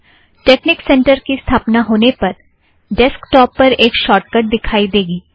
technique center की स्थापना होने पर डैस्कटौप पर एक शोर्टकट दिखाई देगी